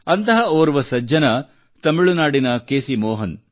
ಅಂತಹ ಓರ್ವ ಸಜ್ಜನ ತಮಿಳುನಾಡಿನ ಕೆ ಸಿ ಮೋಹನ್